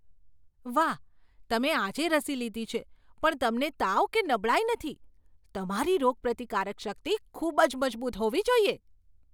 વાહ! તમે આજે રસી લીધી છે પણ તમને તાવ કે નબળાઈ નથી. તમારી રોગપ્રતિકારક શક્તિ ખૂબ જ મજબૂત હોવી જોઈએ!